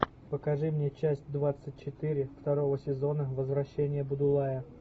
покажи мне часть двадцать четыре второго сезона возвращение будулая